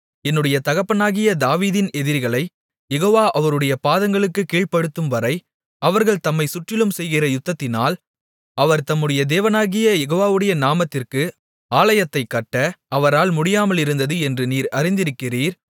என்னுடைய தகப்பனாகிய தாவீதின் எதிரிகளைக் யெகோவா அவருடைய பாதங்களுக்குக் கீழ்ப்படுத்தும்வரை அவர்கள் தம்மைச் சுற்றிலும் செய்கிற யுத்தத்தினால் அவர் தம்முடைய தேவனாகிய யெகோவாவுடைய நாமத்திற்கு ஆலயத்தைக் கட்ட அவரால் முடியாமலிருந்தது என்று நீர் அறிந்திருக்கிறீர்